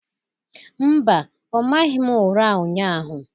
Mba, ọ maghị m ụra ụnyahụ.